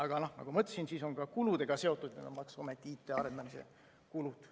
Aga nagu ma ütlesin, see on ka kuludega seotud, need on maksuameti IT-arendamise kulud.